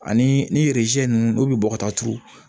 Ani ni nunnu olu bi bɔ ka taa turu